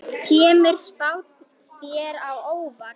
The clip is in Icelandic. Kemur spáin þér á óvart?